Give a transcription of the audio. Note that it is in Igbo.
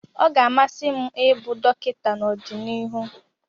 Ọ ga-amasị m ịbụ dọkịta n'ọdịnihu.